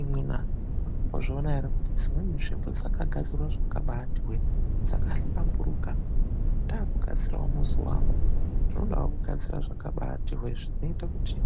IMWI NA MAKAMBOZVIONAWO ERE KUTIDZIMWENI NZVIMBO DZAKAGADZIRWA ZVAKABAATI HWEE? DZAKAHLAMBURUKA, NDAAKUGADZIRAWO MUZI WANGU NDINODAWO KUGADZIRA ZVAKABAATI HWEE ZVINOITA KUTI